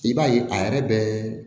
I b'a ye a yɛrɛ bɛ